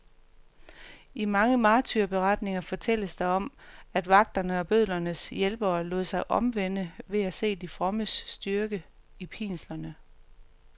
I mange martyrberetninger fortælles der om, at vagterne og bødlernes hjælpere lod sig omvende ved at se de frommes styrke i pinslerne.